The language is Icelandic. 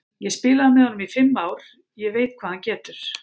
Ég spilaði með honum í fimm ár, ég veit hvað hann getur.